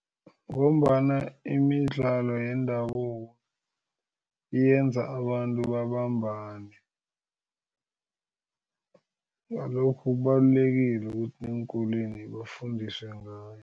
Ngombana imidlalo yendabuko yenza abantu babambane ngalokho kubalulekile ukuthi eenkolweni bafundiswe ngayo.